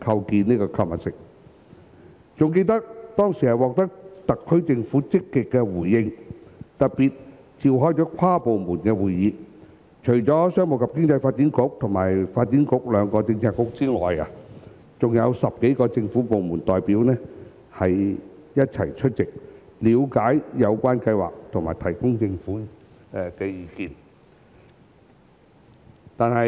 猶記得當時獲得特區政府的積極回應，特別召開跨部門會議，除商務及經濟發展局和發展局兩個政策局外，還有10多個政府部門代表一起出席，了解有關計劃和提供政府意見。